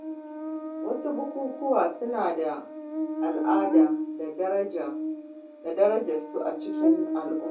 Wasu bukukuwa suna da al’ada da darajar su a cikin al’umma.